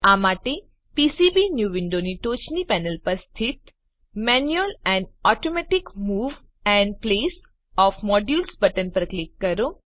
આ માટે પીસીબીન્યૂ વિન્ડોની ટોચની પેનલ પર સ્થિત manual and automatic move and place of modules button પર ક્લિક કરો